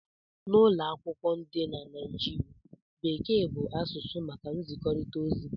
N'ụlọ akwụkwọ dị na Nigeria, Bekee bụ asụsụ maka nzikọrịta ozi